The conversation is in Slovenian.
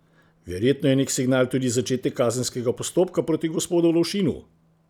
Verjetno je nek signal tudi začetek kazenskega postopka proti gospodu Lovšinu?